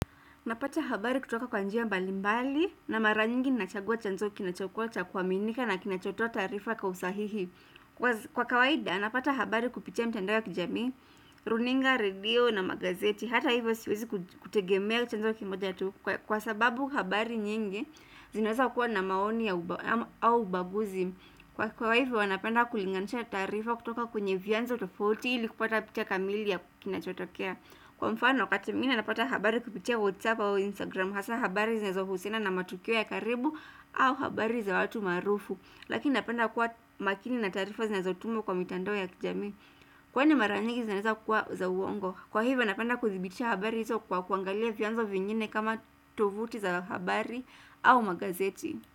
Napata habari kutoka kwa njia mbalimbali na mara nyingi nachagua chanzo kinachokuwa cha kuaminika na kinachotoa taarifa kwa usahihi. Kwa kawaida, napata habari kupitia mitandao wa kijami, runinga, radio na magazeti, hata hivyo siwezi kutegemea chanzo kimoja tu kwa sababu habari nyingi zinaweza kua na maoni au ubaguzi. Kwa hivyo, napenda kulinganisha taarifa kutoka kwenye vyanzo tofauti ili kupata picha kamili ya kinachotokea. Kwa mfano wakati mwinge napata habari kupitia WhatsApp au Instagram hasa habari zinazohusiana na matukio ya karibu au habari za watu maarufu. Lakini napenda kuwa makini na taarifa zinazotumwa kwa mitandao ya kijamii Kwani mara nyingi zinaweza kuwa za uongo Kwa hivyo napenda kuthibitisha habari hizo kwa kuangalia vyanzo vingine kama tuvuti za habari au magazeti.